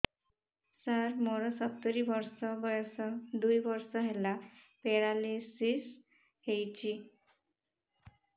ସାର ମୋର ସତୂରୀ ବର୍ଷ ବୟସ ଦୁଇ ବର୍ଷ ହେଲା ପେରାଲିଶିଶ ହେଇଚି